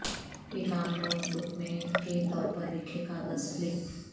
ایک عام notebook میں کے طور پر لکھے کاغذ فلپ